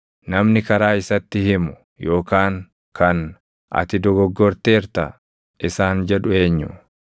Namni karaa isatti himu, yookaan kan, ‘Ati dogoggorteerta’ isaan jedhu eenyu?